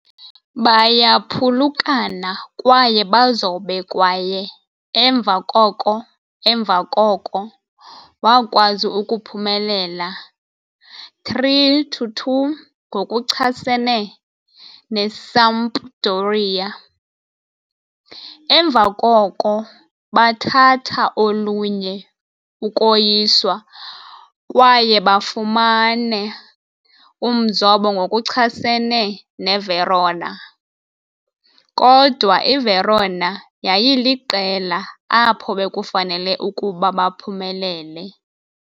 Bayaphulukana kwaye bazobe kwaye emva koko emva koko wakwazi ukuphumelela 3-2 ngokuchasene neSampdoria. Emva koko bathatha olunye ukoyiswa kwaye bafumane umzobo ngokuchasene neVerona, kodwa iVerona yayiliqela apho bekufanele ukuba baphumelele.